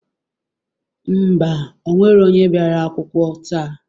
Ḿbà,o nwero onye bịara akwukwọ taa.